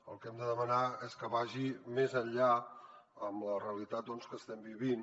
el que hem de demanar és que vagi més enllà amb la realitat que estem vivint